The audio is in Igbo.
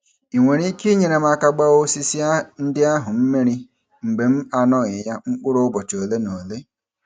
Ị nwere ike inyere m aka gbaa osisi ndị ahụ mmiri mgbe m anoghị ya mkpụrụ ụbọchị ole na ole?